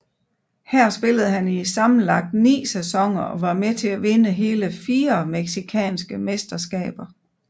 Her spillede han i sammenlagt ni sæsoner og var med til at vinde hele fire mexicanske mesterskaber